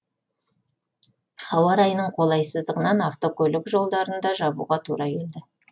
ауа райының қолайсыздығынан автокөлік жолдарын да жабуға тура келді